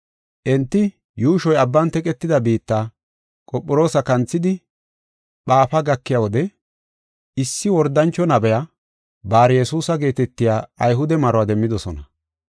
Enti yuushoy abban teqetida biitta, Qophiroosa kanthidi Phaafu gakiya wode, issi wordancho nabiya, Bar-Yesuusa geetetiya Ayhude maruwa demmidosona.